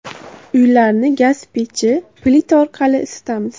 Uylarni gaz pechi, plita orqali isitamiz.